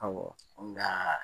Awɔ nkaa